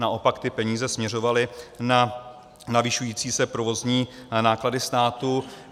Naopak ty peníze směřovaly na navyšující se provozní náklady státu.